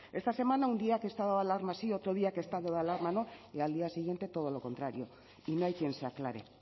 esta semana un día que estado de alarma sí y otro día que he estado de alarma no y al día siguiente todo lo contrario y no hay quien se aclare